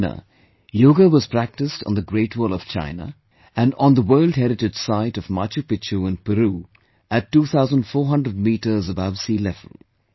In China, Yoga was practiced on the Great Wall of China, and on the World Heritage site of Machu Picchu in Peru, at 2400 metres above sea level